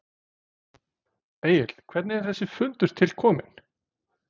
Egill hvernig er þessi fundur til kominn?